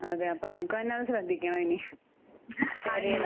അപ്പൊ നമുക്ക് തന്നെ ശ്രദ്ധിക്കണം ഇനി